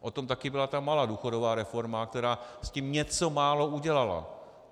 O tom také byla ta malá důchodová reforma, která s tím něco málo udělala.